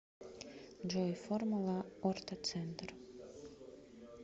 джой формула ортоцентр